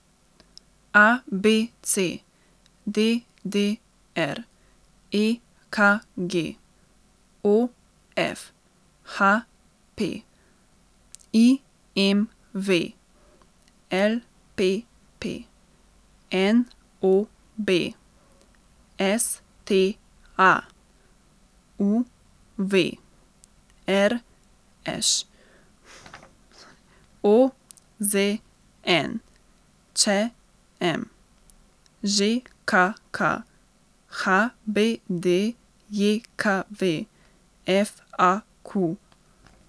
A B C; D D R; E K G; O F; H P; I M V; L P P; N O B; S T A; U V; R Š; O Z N; Č M; Ž K K; H B D J K V; F A Q.